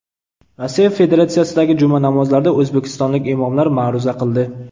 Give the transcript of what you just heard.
Rossiya Federatsiyasidagi juma namozlarida o‘zbekistonlik imomlar ma’ruza qildi.